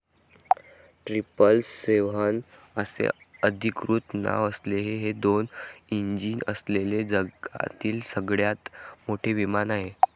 triple seven असे अधीकृत नाव असलेले हे दोन इंजिन असलेले जगातील सगळ्यात मोठे विमान आहे